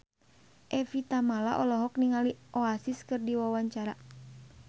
Evie Tamala olohok ningali Oasis keur diwawancara